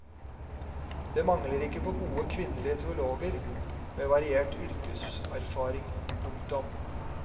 Det mangler ikke på gode kvinnelige teologer med variert yrkeserfaring. punktum